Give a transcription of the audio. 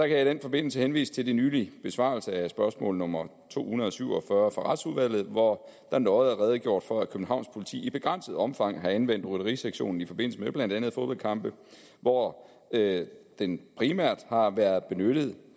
jeg i den forbindelse henvise til de nylige besvarelser af spørgsmål nummer to hundrede og syv og fyrre fra retsudvalget hvor der nøje er redegjort for at københavns politi i begrænset omfang har anvendt rytterisektionen i forbindelse med blandt andet fodboldkampe hvor den primært har været benyttet